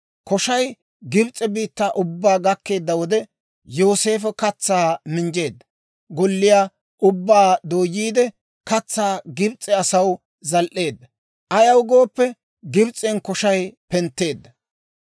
Koshay Gibs'e biittaa ubbaa gakkeedda wode, Yooseefo katsaa minjjeedda golliyaa ubbaa dooyiide, katsaa Gibs'e asaw zal"eedda; ayaw gooppe, Gibs'en koshay pentteedda.